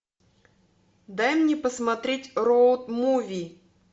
дай мне посмотреть роуд муви